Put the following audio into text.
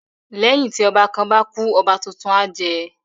Lẹ́yìn tí ọba kan bá kú, ọba tuntun á jẹ